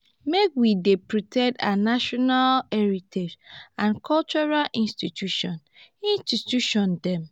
make we dey protect our national heritage and cultural institution institution dem.